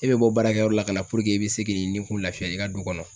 E bɛ bɔ baarakɛyɔrɔ la ka na i bɛ se k'i nikun lafiya i ka du kɔnɔ.